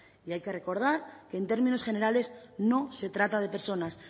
y hay que recordar que en términos generales no se trata de personas